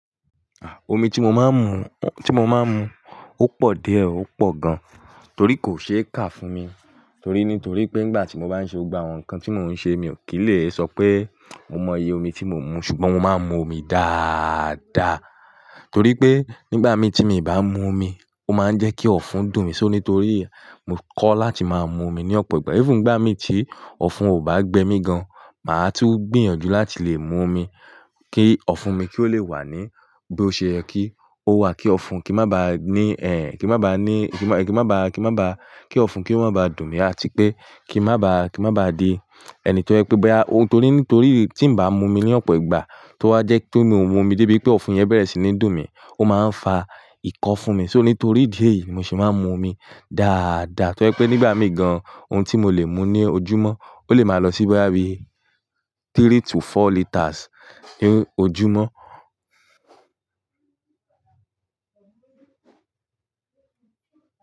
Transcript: Ah! Omi tí mo máa ń mu, tí mo máa ń mu, ó pọ̀ díẹ̀, ó pọ̀ gan. Torí kò ṣe é kà fún mi, torí ní torí pé nígbà tí mo bá ń ṣe gba àwọn nǹkan tí mò ń ṣe, mi ò kí lè sọ pé mo mọ iye omi tí mò ń mu, ṣùgbọ́n mo máa ń mu omi dáadáa. Torí pé nígbà mi tí mi ò bá mu omi, ó máa ń jẹ́ kí ọ̀fun dùn mí, so nítorí yen mo kọ́ láti máa mu omi ní ọ̀pọ̀ ìgbà. Even nìgbà mi tí ọ̀fun ò bá gbé mi gan, màá tún gbìyànjú láti lè mu omi kí ọ̀fun mi kí ó le wà ní bí ó ṣe yẹ kí ó wà, kí ọ̀fun kí má ba ní ẹ́, kí má ba ní, kí má, kí má ba, kí má ba, kí ọ̀fun kí ó má ba dùn mí àti pé kí n má ba, kí n má ba di ẹni tó jẹ pe bóyá, torí nítorí tí n bá mu omi ní ọ̀pọ̀ ìgbà, tó bá jẹ́ pé mi ò mu omi débi pé ọ̀fun yẹn bẹ̀rẹ̀ sí ní dùn mí, ó máa ń fa ìkọ́ fún mi. So nítorí idí èyí, mo se máa ń mu omi dáadáa. Torí pé nígbà mí gan, ohun tí mo lè mu ní ojúmọ́ ó lè máa lọ sí báyìí three to four litres ní ojúmọ́